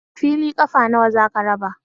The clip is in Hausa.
Fili ƙafa nawa za ka raba?